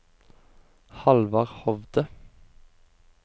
Hallvard Hovde